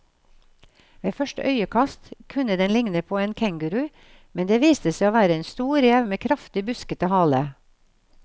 Ved første øyekast kunne den ligne på en kenguru, men det viste seg å være en stor rev med kraftig, buskete hale.